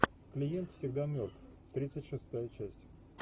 клиент всегда мертв тридцать шестая часть